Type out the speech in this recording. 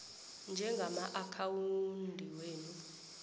nje yamaakhawundi wenu